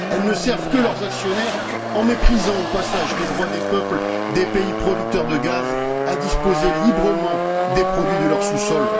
Elles ne servent que leurs actionnaires, en méprisant au passage les droits des peuples des pays producteurs de gaz à disposer librement des produits de leur sous sol.